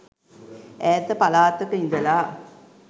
ඈත පළාතක ඉඳලා